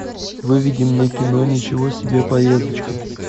выведи мне кино ничего себе поездочка